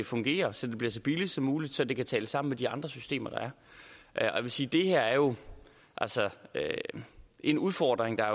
fungerer så det bliver så billigt som muligt så det kan tale sammen med de andre systemer der er jeg vil sige at det her altså er en udfordring der